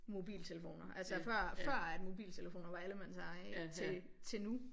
Mobiltelefoner altså før før mobiltelefoner var allemandseje ikke til til nu